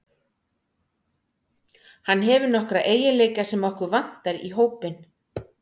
Hann hefur nokkra eiginleika sem okkur vantar í hópinn.